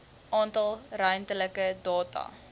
alle ruimtelike data